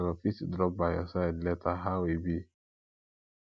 i go fit drop by your side later how e be